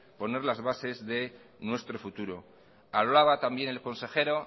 poner las bases de nuestro futuro hablaba también el consejero